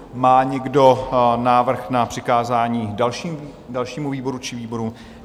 Má někdo návrh na přikázání dalšímu výboru či výborům?